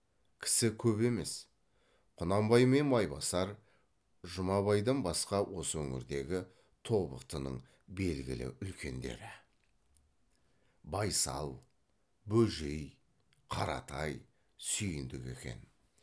кісі көп емес құнанбай мен майбасар жұмабайдан басқа осы өңірдегі тобықтының белгілі үлкендері байсал бөжей қаратай сүйіндік екен